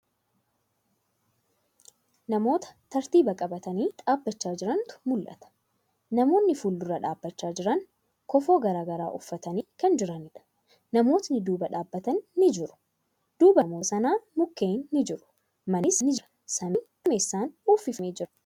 Namoota tartiiba qabatanii dhaabbachaa jiranitu mul'ata. Namoonni fuuldura dhaabbachaa jiran kofoo garagaraa uffatanii kan jiraniidha. Namootni duuba dhaabbatan ni jiru. Duuba namoota kanaa mukkeen ni jiru. Mannis ni jira. Samiin duumessan uwwiffamee jira.